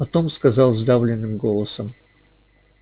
потом сказал сдавленным голосом